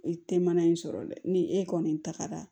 E tɛ mana in sɔrɔ dɛ ni e kɔni tagara